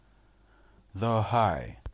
зо хай